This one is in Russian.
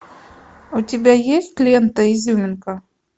у тебя есть лента изюминка